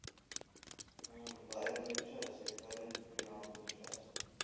உம் பதினஞ்சு நிமிஷம் ஆச்சு பதினஞ்சு புள்ளி நாற்பது நிமிஷம் ஆச்சு